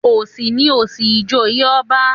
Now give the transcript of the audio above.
Òsì ni òsì ìjòyè ọba